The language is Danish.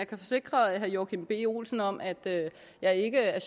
kan forsikre herre joachim b olsen om at jeg ikke er